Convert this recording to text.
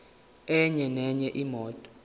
enye nenye imoto